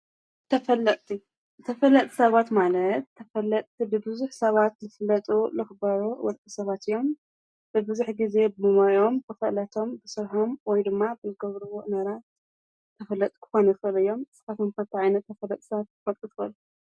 ተፈለጥቲ፡- ተፈለጥቲ ሰባት ማለት ተፈለጥቲ ብብዙሕ ሰባት ዝፍለጡ ልኽበሩ ሰባት እዮም፡፡ ብብዙሕ ጊዜ ብሞዮኦም ብፍልጠቶም ብስርሖም ወይ ድማ ብልገብሩዎ ስራሕ ተፈለጥቲ ክኮኑ ይኽእሉ እዮም፡፡ ንስኻትኩም ከ አንታይ ዓይነት ተፈልጥቲ ሰባት ክትፈልጡ ትኽእሉ?